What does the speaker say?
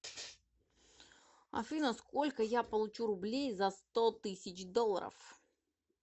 афина сколько я получу рублей за сто тысяч долларов